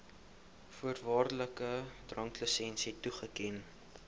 voorwaardelike dranklisensie toeken